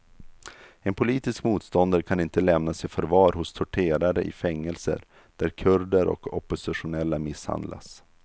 En politisk motståndare kan inte lämnas i förvar hos torterare i fängelser där kurder och oppositionella misshandlas.